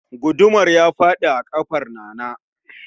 Gudumar ya fadi a kafar Nana